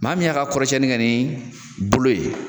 Maa min y'a ka kɔrɔsɛnni kɛ nin bolo ye